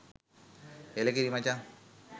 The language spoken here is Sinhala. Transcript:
එළකිරි මචං